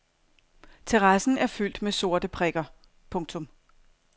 Terrassen er fyldt med sorte prikker. punktum